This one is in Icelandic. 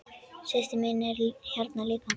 Systir mín er hérna líka.